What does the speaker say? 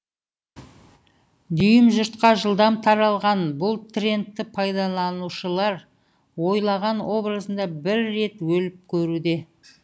дүйім жұртқа жылдам таралған бұл трендті пайдаланушылар ойлаған образында бір рет өліп көруде